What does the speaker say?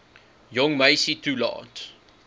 jong meisie toelaat